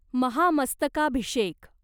महामस्तकाभिषेक